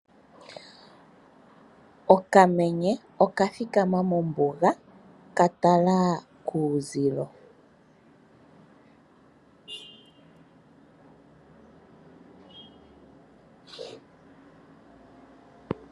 Okamenye oka thikama mombuga ka tala kuuzilo.